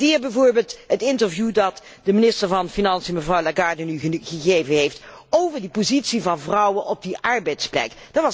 Ik waardeer bijvoorbeeld het interview dat de minister van Financiën, mevrouw Lagarde, nu gegeven heeft over de positie van vrouwen op de arbeidsplaats.